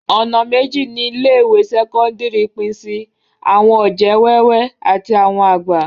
Ọ̀nà méjì ni ilé ìwé sẹ́kọ́ńdírì pín sí, àwọn ọ̀jẹ̀ wẹ́wẹ́ àti àwọn àgbà.